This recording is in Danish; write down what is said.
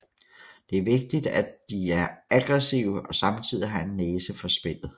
Det er vigtigt at de er aggressive og samtidig har en næse for spillet